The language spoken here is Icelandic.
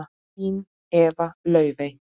Þín Eva Laufey.